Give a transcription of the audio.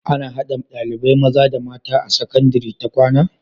Ana hada ɗalibai mata da maza a sakandari ta kwAna?